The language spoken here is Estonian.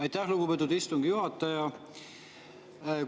Aitäh, lugupeetud istungi juhataja!